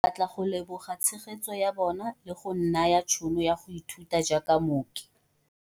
Batla go leboga tshegetso ya bona le go nnaya tšhono ya go ithuta jaaka mooki.